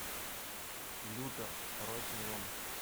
лютер второй сезон